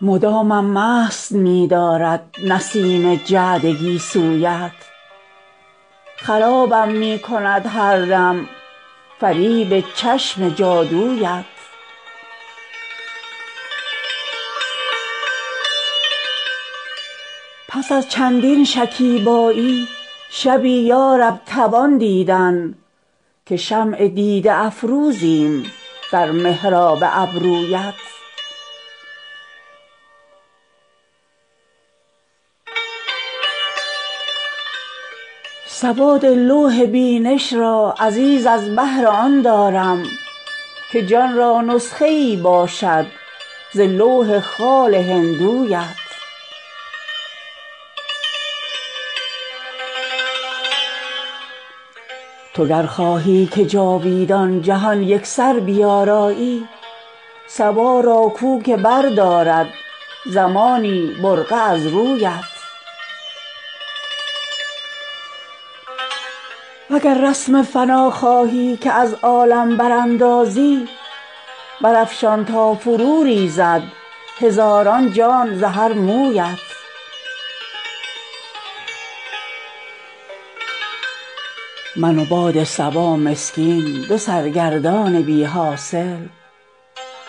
مدامم مست می دارد نسیم جعد گیسویت خرابم می کند هر دم فریب چشم جادویت پس از چندین شکیبایی شبی یا رب توان دیدن که شمع دیده افروزیم در محراب ابرویت سواد لوح بینش را عزیز از بهر آن دارم که جان را نسخه ای باشد ز لوح خال هندویت تو گر خواهی که جاویدان جهان یکسر بیارایی صبا را گو که بردارد زمانی برقع از رویت و گر رسم فنا خواهی که از عالم براندازی برافشان تا فروریزد هزاران جان ز هر مویت من و باد صبا مسکین دو سرگردان بی حاصل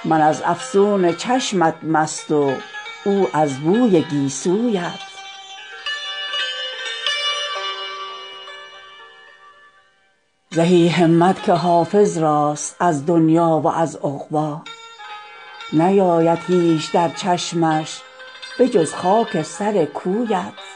من از افسون چشمت مست و او از بوی گیسویت زهی همت که حافظ راست از دنیی و از عقبی نیاید هیچ در چشمش به جز خاک سر کویت